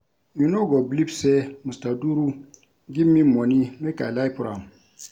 You no go believe say Mr. Duru give me money make I lie for am